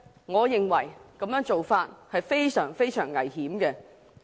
我認為這種做法非常危險。